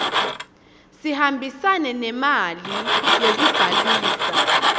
sihambisane nemali yekubhalisa